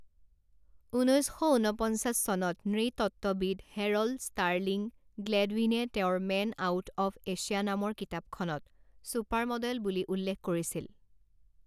ঊনৈছ শ ঊনপঞ্চাছ চনত নৃতত্ত্ববিদ হেৰল্ড ষ্টাৰ্লিং গ্লেডৱিনে তেওঁৰ মেন আউট অৱ এছিয়া নামৰ কিতাপখনত চুপাৰমডেল বুলি উল্লেখ কৰিছিল।